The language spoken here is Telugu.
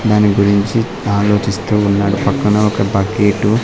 దాని గురించి ఆలోచిస్తూ ఉన్నాడు పక్కన ఒక బ గేటు --